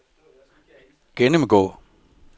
gennemgå